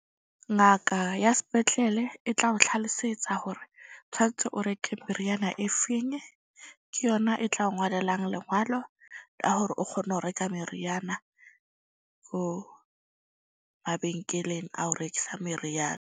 Ngaka ya spetlele e tla o tlhalosetsa hore tshwantse o reke meriana e feng. Ke yona e tla o ngolelang lengwalo la hore o kgone ho reka meriana ko mabenkeleng a o rekisa meriana.